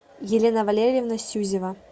елена валерьевна сюзева